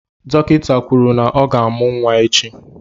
Dọkịta kwuru na ọ ga-amụ́ nwa echi.